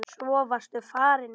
Svo varstu farinn.